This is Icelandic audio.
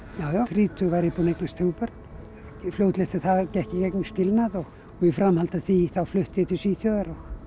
já já þrítug var ég búin að eignast þrjú börn fljótlega eftir það gekk ég í gegnum skilnað og í framhaldi af því flutti ég til Svíþjóðar